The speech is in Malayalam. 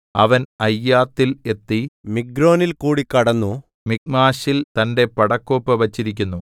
അവൻ അയ്യാത്തിൽ എത്തി മിഗ്രോനിൽകൂടി കടന്നു മിക്മാശിൽ തന്റെ പടക്കോപ്പു വച്ചിരിക്കുന്നു